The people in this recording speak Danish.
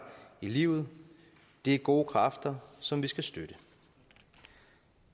i livet det er gode kræfter som vi skal støtte